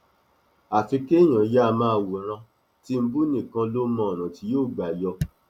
àfi kéèyàn yáa máa wòran tìǹbù nìkan ló mọ ọnà tí yóò gbà yọ